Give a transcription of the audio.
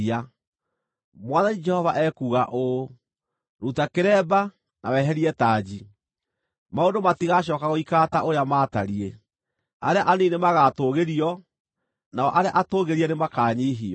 Mwathani Jehova ekuuga ũũ: Ruta kĩremba, na weherie tanji. Maũndũ matigacooka gũikara ta ũrĩa maatariĩ: Arĩa anini nĩmagatũũgĩrio, nao arĩa atũũgĩrie nĩmakanyiihio.